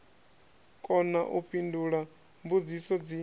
kona u fhindula mbudziso dzi